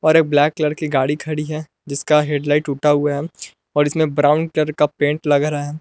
और एक black colour की गाड़ी खड़ी है जिसका हेड लाइट टूटा हुआ है और इसमें ब्राउन कलर का पेंट लग रहा है।